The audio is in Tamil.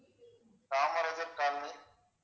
காமராஜர் காலனி